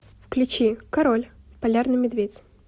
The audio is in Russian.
включи король полярный медведь